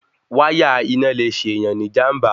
Wáyà iná le ṣèyàn ní ìjànbá